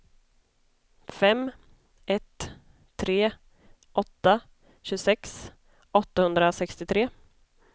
fem ett tre åtta tjugosex åttahundrasextiotre